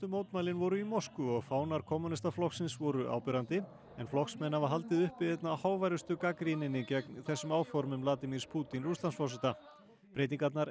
mótmælin voru í Moskvu og fánar kommúnistaflokksins voru áberandi en flokksmenn hafa haldið uppi einna háværustu gagnrýninni gegn þessum áformum Vladimírs Pútín Rússlandsforseta breytingarnar